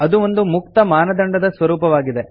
ಅದು ಒಂದು ಮುಕ್ತ ಮಾನದಂಡದ ಸ್ವರೂಪವಾಗಿದೆ